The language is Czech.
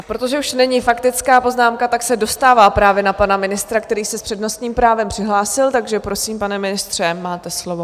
A protože už není faktická poznámka, tak se dostává právě na pana ministra, který se s přednostním právem přihlásil, takže prosím, pane ministře, máte slovo.